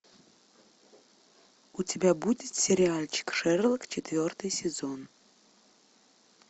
у тебя будет сериальчик шерлок четвертый сезон